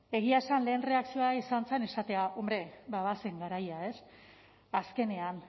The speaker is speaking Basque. egia esan lehen erreakzioa izan zen esatea hombre ba bazen garaia ez azkenean